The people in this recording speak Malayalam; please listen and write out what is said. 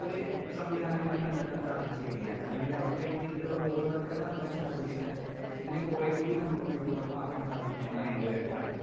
ഒരു സംവിദാനം കൂടി കണ്ടെത്താൻ സാധിച്ചു കഴിഞ്ഞാൽ അല്ലെങ്കിലവർക്കു വേണ്ട രീതീലുള്ള ബോധവൽക്കരണം നൽകാൻ സാധിച്ച് കഴിഞ്ഞാൽ ഇതിനെ കൊറേ കൂടി നമുക്ക് ഉപയോഗ പ്രദമാക്കാൻ സാധിക്കുമെന്നാണ് എന്റൊരഭിപ്രായം.